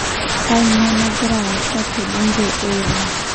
Kanyioo nagira asaa te bunge e Iran?